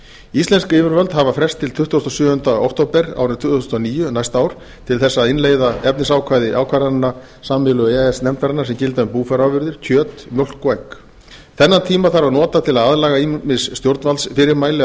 íslensk yfirvöld hafa frest til tuttugasta og sjöunda október árið tvö þúsund og níu næsta ár til þess að innleiða efnisákvæði ákvarðana sameiginlegu e e s nefndarinnar sem gilda um búfjárafurðir kjöt mjólk og egg þennan tíma þarf að nota til að aðlaga ýmis stjórnvaldsfyrirmæli að